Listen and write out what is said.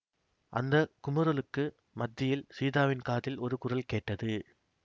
அந்த குமுறலுக்கு மத்தியில் சீதாவின் காதில் ஒரு குரல் கேட்டது